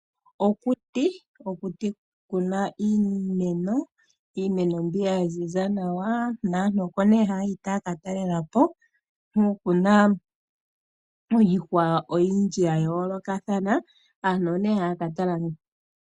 Okuti okuna iimeno mbyoka yaziza nawa naantu oko haya yi taya ka talelapo, nokuna iihwa oyindji yayoolokathana, aantu oyo haya ka tala.